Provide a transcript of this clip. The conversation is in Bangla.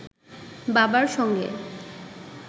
বাবার সঙ্গে